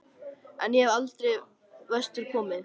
En ég hef aldrei vestur komið.